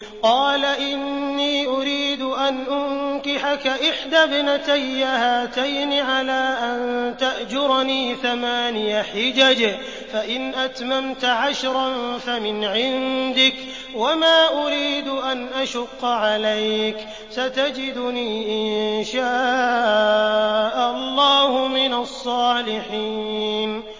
قَالَ إِنِّي أُرِيدُ أَنْ أُنكِحَكَ إِحْدَى ابْنَتَيَّ هَاتَيْنِ عَلَىٰ أَن تَأْجُرَنِي ثَمَانِيَ حِجَجٍ ۖ فَإِنْ أَتْمَمْتَ عَشْرًا فَمِنْ عِندِكَ ۖ وَمَا أُرِيدُ أَنْ أَشُقَّ عَلَيْكَ ۚ سَتَجِدُنِي إِن شَاءَ اللَّهُ مِنَ الصَّالِحِينَ